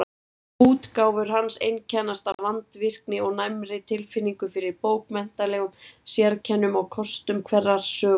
Útgáfur hans einkennast af vandvirkni og næmri tilfinningu fyrir bókmenntalegum sérkennum og kostum hverrar sögu.